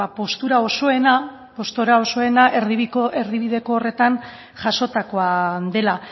postura osoena erdibideko horretan jasotakoa dela